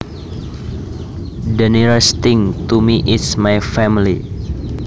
The nearest thing to me is my family